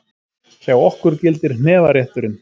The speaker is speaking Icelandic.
Hjá okkur gildir hnefarétturinn!